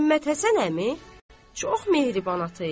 Məmmədhəsən əmi çox mehriban ata idi.